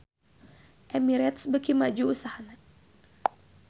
Emirates beuki maju usahana